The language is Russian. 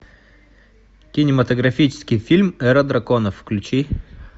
кинематографический фильм эра драконов включи